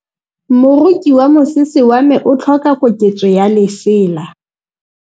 Moroki wa mosese wa me o tlhoka koketsô ya lesela.